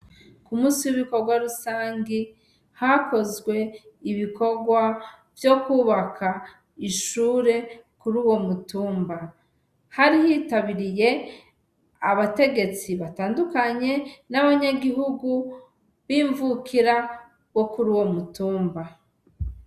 K' umunsi wibikogwa rusangi hakozw' ibikogwa vyo kubak' ishure kuruwo mutumba, hari hitabiriy' abategetsi batandukanye n' abanyagihugu bimvukira zo kuruwo mutumba.